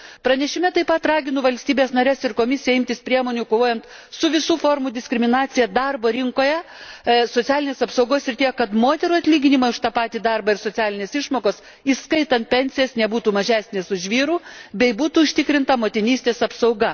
Pranešime taip pat raginu valstybes nares ir Komisiją imtis priemonių kovojant su visų formų diskriminacija darbo rinkoje socialinės apsaugos srityje, kad moterų atlyginimai už tą patį darbą ir socialinės išmokos, įskaitant pensijas, nebūtų mažesni už vyrų ir būtų užtikrinta motinystės apsauga.